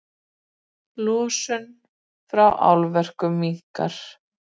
Losun frá álverum minnkar